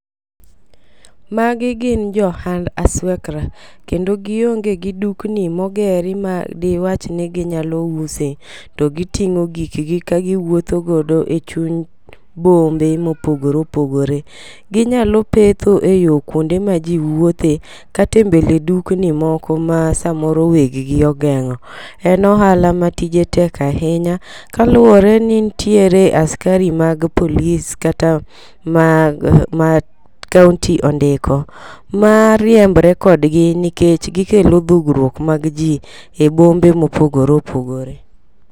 Magi gin jo ohand aswekra, kendo gionge gi dukni mogeri ma diwach ni ginyalo use, to giting'o gikgi ka giwuotho godo e chuny bombe mopogore opogore. Ginyalo petho e yo kuonde ma ji wuothe kata e mbele dukni moko ma samoro weg gi ogeng'o. En ohala ma tije tek ahinya kaluwore ni nitiere askari mag polis kata ma ma county ondiko ma riembre kodgi nikech gikelo dhugruok mag ji e bombe mopogore opogore.